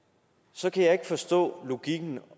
så kan jeg ikke forstå logikken